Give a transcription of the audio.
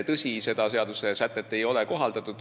Tõsi, seda seadusesätet ei ole kohaldatud.